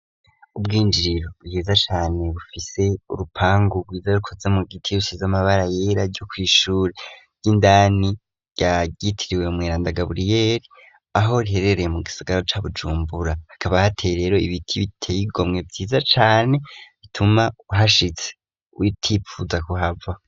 Ubwinjiriro bwiza cane bufise urupangu rwiza rukoze mu giti y'shiz'amabara yera ryo kwishura ry'indani yagitiriwe mw'iranda gaburiyeli aho riherereye mu gisigaro c'a bujumbura hakaba hateye rero ibiti biteyigomwe vyiza cane bituma uhashitse witipfuza kuhaba.